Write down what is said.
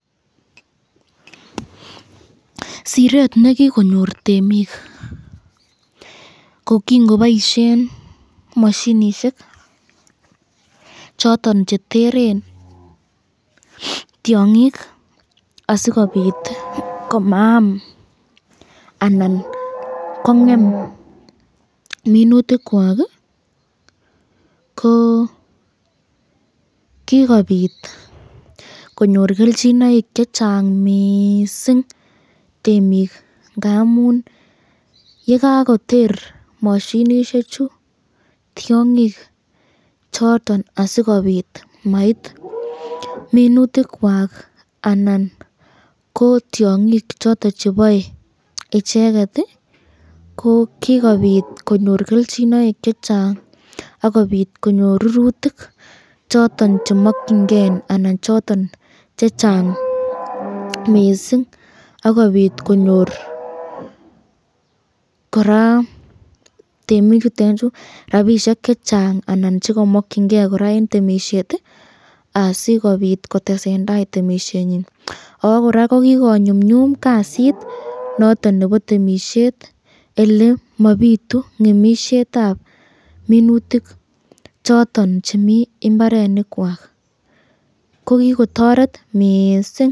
Siret nekikonyor temik, kingoboisyen mashinishek choton cheteren tyongik asikobit komaam anan kongen minutik kwak ,ko kikobit konyor kelchinaek chechang mising temik, ngamun yekakoter mashinishek chu tyongik choton asikobit mait minutikwak ko tyongik choton chebae icheket, ko kikobit konyor icheket kelchinoik chechang, akobit konyor rurutik choton chemakyinike anan choton chechang mising, akobit konyor koraa temik chutenchu rapishek chechang anan chekakyinke koraa eng temisyet asikobit kotesen tai boisyenyin akokikonyumnyum kasit noton nebo temisyet ole mabitu ngemisyetab minutik choton chemi imbarenikwak ko kikotoret mising.